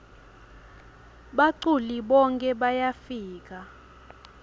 baculi bonkhe bayafika